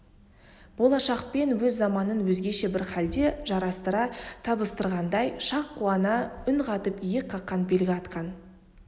болашақпен өз заманын өзгеше бір халде жарастыра табыстырғандай шақ қана үн қатып иек қаққан белгі атқан